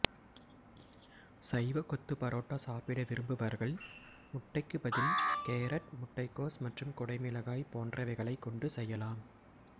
சைவ கொத்து பரோட்டா சாப்பிட விரும்புபவர்கள் முட்டைக்கு பதில் கேரட் முட்டைகோஸ் மற்றும் குடை மிளகாய் போன்றவைகளைக் கொண்டு செய்யலாம்